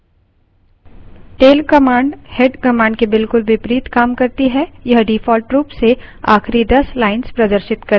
tail command head command के बिलकुल विपरीत काम करती है यह default रूप से आखिरी दस lines प्रदर्शित करती है